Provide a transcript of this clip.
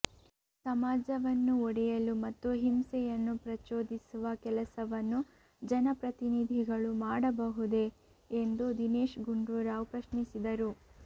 ಸಮಾಜವನ್ನು ಒಡೆಯಲು ಮತ್ತು ಹಿಂಸೆಯನ್ನು ಪ್ರಚೋದಿಸುವ ಕೆಲಸವನ್ನು ಜನಪ್ರತಿನಿಧಿಗಳು ಮಾಡಬಹುದೇ ಎಂದು ದಿನೇಶ್ ಗುಂಡೂರಾವ್ ಪ್ರಶ್ನಿಸಿದರು